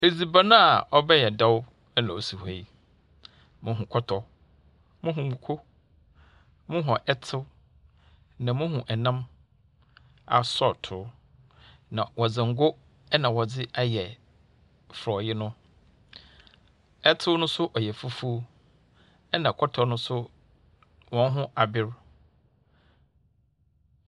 Edziban a ɔbɛyɛ dɛw na osi hɔ yi. Muhu kɔtɔ, muhu mako, muhu ɛtsew, na muhu nam asɔɔtow. Na wɔdze ngo na wɔdze ayɛ forɔɛe no. Ɛtsew no nso ɔyɛ fufuw. Ɛna kɔtɔ no nso hɔn ho aber.